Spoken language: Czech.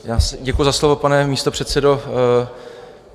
Děkuji za slovo, pane místopředsedo.